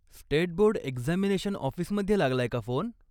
State board examination ऑफिसमध्ये लागलाय का फोन?